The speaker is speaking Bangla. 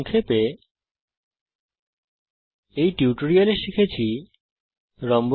সংক্ষেপে এই টিউটোরিয়াল এ আমরা নির্ণয় করতে শিখেছি